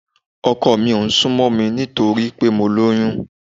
Ọkọ mi ò ń sún mọ́ mi nítorí pé mo lóyún